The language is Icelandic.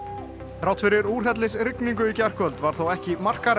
þrátt fyrir úrhellisrigningu í gærkvöld varð þó ekki